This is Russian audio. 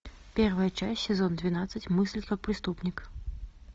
первая часть сезон двенадцать мыслить как преступник